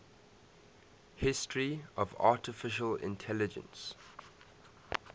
history of artificial intelligence